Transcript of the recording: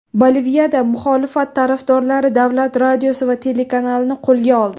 Boliviyada muxolifat tarafdorlari davlat radiosi va telekanalini qo‘lga oldi.